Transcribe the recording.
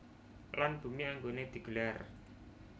Lan bumi anggoné di gelar